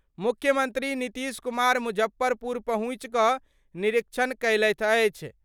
मुख्यमंत्री नीतीश कुमार मुजफ्फरपुर पहुंचि क निरीक्षण कयलथि अछि।